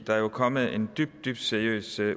der er jo kommet en dybt dybt seriøs